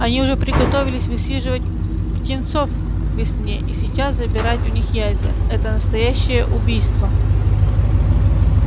они уже приготовились высиживать птенцов к весне и сейчас забирать у них яйца это настоящее убийство